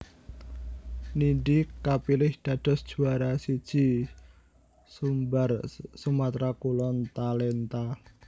Nindy kapilih dados juwara I Sumbar Sumatera Kulon Talenta